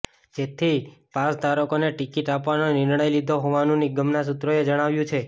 જેથી પાસધારકોને ટિકિટ આપવાનો નિર્ણય લીધો હોવાનું નિગમના સૂત્રોએ જણાવ્યું છે